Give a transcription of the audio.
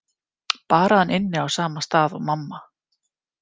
Bara að hann ynni á sama stað og mamma.